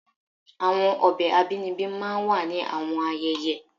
Awọn ọbẹ abinibi máà ń wa ni awọn ayẹyẹ